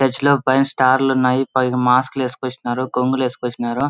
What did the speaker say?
Church లో పైన star లు ఉన్నాయి. పైన మాస్క్ లు ఏసుకొచ్చిన్నారు. కొంగులేసికోచిన్నారు.